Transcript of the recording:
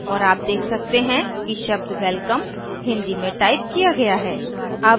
और आप देख सकते हैं कि शब्द welcome hindi में टाइप किया गया है